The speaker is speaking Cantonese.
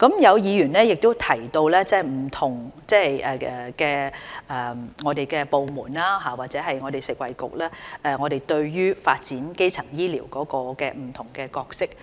有議員亦提到不同部門和食物及衞生局對於發展基層醫療的不同角色。